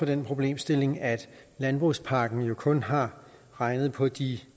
den problemstilling at landbrugspakken kun har regnet på de